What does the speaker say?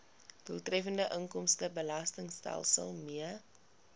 doeltreffende inkomstebelastingstelsel mee